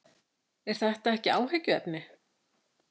Er þetta ekki áhyggjuefni?